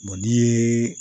n'i ye